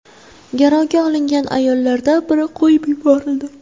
Garovga olingan ayollardan biri qo‘yib yuborildi.